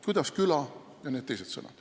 Kuidas küla ... ja need teised sõnad.